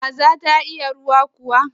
Kaza ta iya ruwa kuwa?